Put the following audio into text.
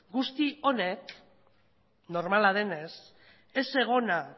guzti honek normala denez ez egona